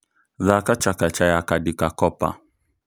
thaka chakacha ya khadika kopa